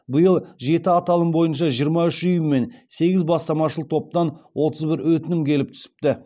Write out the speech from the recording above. биыл жеті аталым бойынша жиырма үш ұйым мен сегіз бастамашыл топтан отыз бір өтінім келіп түсіпті